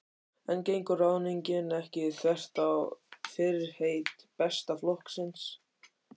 En gengur ráðningin ekki þvert á fyrirheit Besta flokksins?